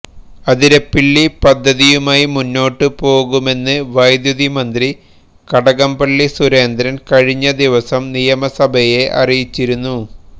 അതരപ്പിള്ളി പദ്ധതിയുമായി മുന്നോട്ട് പോകുമെന്ന് വൈദ്യുതി മന്ത്രി കടകംപള്ളി സുരേന്ദ്രന് കഴിഞ്ഞ ദിവസം നിയമസഭയെ അറിയിച്ചിരുന്നു